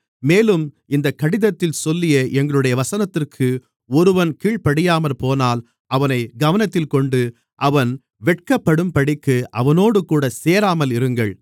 மேலும் இந்தக் கடிதத்தில் சொல்லிய எங்களுடைய வசனத்திற்கு ஒருவன் கீழ்ப்படியாமற்போனால் அவனைக் கவனத்தில் கொண்டு அவன் வெட்கப்படும்படிக்கு அவனோடுகூட சேராமல் இருங்கள்